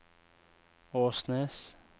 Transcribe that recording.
Åsnes